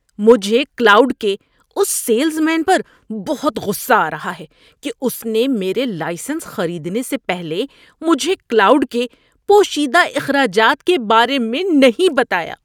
مجھے کلاؤڈ کے اس سیلز مین پر بہت غصہ آ رہا ہے کہ اس نے میرے لائسنس خریدنے سے پہلے مجھے کلاؤڈ کے پوشیدہ اخراجات کے بارے میں نہیں بتایا۔